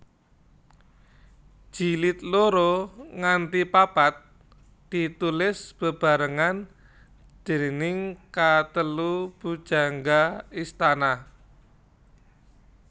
Jilid loro nganti papat ditulis bebarengan déning katelu pujangga istana